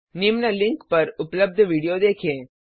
निम्न लिंक पर उपलब्ध वीडियो देखे